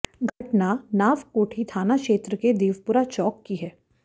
घटना नावकोठी थाना क्षेत्र के देवपुरा चौक की है